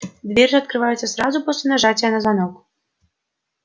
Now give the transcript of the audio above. дверь же открывается сразу после нажатия на звонок